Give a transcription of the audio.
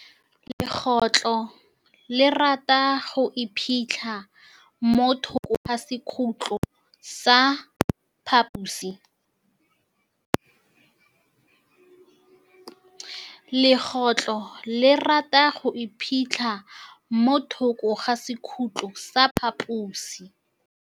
Legôtlô le rata go iphitlha mo thokô ga sekhutlo sa phaposi.